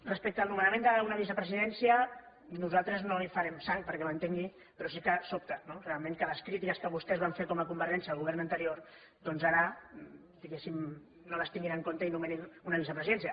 respecte al nomenament d’una vicepresidència nosaltres no hi farem sang perquè m’entengui però sí que sobta no realment que les crítiques que vostès van fer com a convergència al govern anterior doncs ara diguéssim no les tinguin en compte i nomenin una vicepresidència